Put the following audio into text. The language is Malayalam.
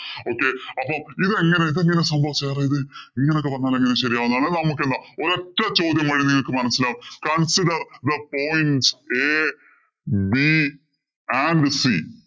okay അപ്പൊ ഇതെങ്ങനെഇതെങ്ങനെ സംഭവം എന്നുവച്ചാല്‍ sir ഇത് ഇങ്ങനെയൊക്കെ പറഞ്ഞാൽ എങ്ങനെ ശരിയാവുന്നെന്ന് നമുക്കെന്താ ഒരൊറ്റ ചോദ്യം ചെയ്യുമ്പോ നിങ്ങൾക്ക് മനസ്സിലാവും consider the point a, b and c